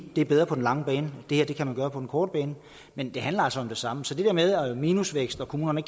er bedre på den lange bane det her kan man gøre på den korte bane men det handler altså om det samme så det der med minusvækst og at kommunerne